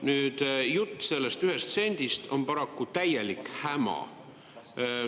Nüüd jutt sellest ühest sendist on paraku täielik häma.